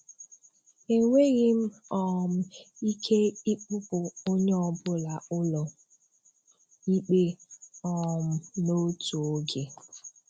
E nweghi m um ike ịkpụpụ onye ọbụla ụlọ ikpe um n'otu oge.